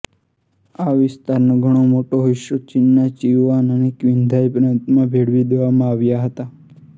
આ વિસ્તારનો ઘણો મોટો હિસ્સો ચીનના સિચુઆન અને ક્વિન્ઘાઇ પ્રાંતમાં ભેળવી દેવામાં આવ્યા હતા